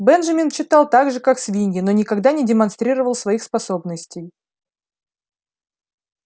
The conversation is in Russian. бенджамин читал так же как свиньи но никогда не демонстрировал своих способностей